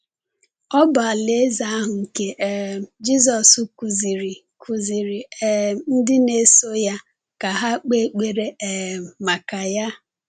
Ọ bụ Alaeze ahụ nke um Jisọs kụziiri kụziiri um ndị na-eso ya ka ha kpee ekpere um maka ya.